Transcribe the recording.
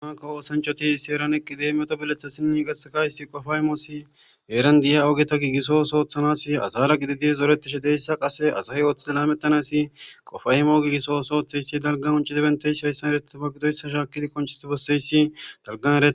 amakka woosanchoti seeran eqqi deemeto bilethassinni gasakayssi qofaymoossi eeran diya ooogeta giigisosoothanas asara gididi zoretishe deyssa qase asahe ooththide lamettanasi qofaymo giigiso sooththeyssi dalga unci dibenteys hayssan eretiba gidoyssa shaakidi konchisti besseyssi dalganeee